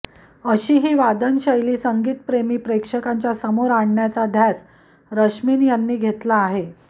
अशी ही वादन शैली संगीतप्रेमी प्रेक्षकांच्या समोर आणण्याचा ध्यास रश्मीन यांनी घेतला आहे